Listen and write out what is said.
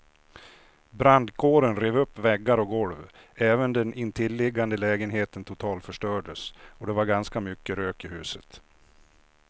Brandkåren rev upp väggar och golv, även den intilliggande lägenheten totalförstördes och det var ganska mycket rök i huset.